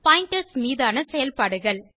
pointers மீதான செயல்பாடுகள்